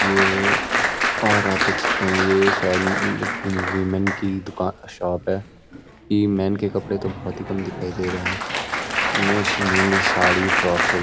ये और आप देख सकते हैं ये शायद ल-व-फ- वीमेन की दुकान शॉप है ये मेन के कपड़े बहोत ही कम दिखाई दे रहे हैं। इसमे मेनली साड़ी फ्रॉग बगैरह --